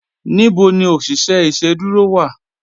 Níbò ní oṣiṣẹ iṣẹ̀dúró wá?